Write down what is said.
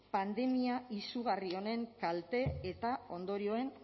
pandemia izugarri honen kalte eta ondorioen